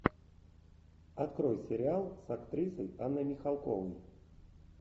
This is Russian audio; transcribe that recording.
открой сериал с актрисой анной михалковой